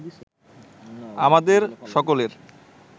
আমাদের সকলের